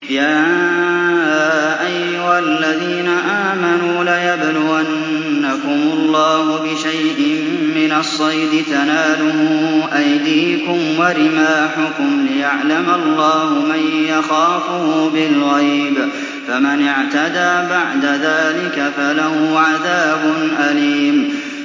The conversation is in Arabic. يَا أَيُّهَا الَّذِينَ آمَنُوا لَيَبْلُوَنَّكُمُ اللَّهُ بِشَيْءٍ مِّنَ الصَّيْدِ تَنَالُهُ أَيْدِيكُمْ وَرِمَاحُكُمْ لِيَعْلَمَ اللَّهُ مَن يَخَافُهُ بِالْغَيْبِ ۚ فَمَنِ اعْتَدَىٰ بَعْدَ ذَٰلِكَ فَلَهُ عَذَابٌ أَلِيمٌ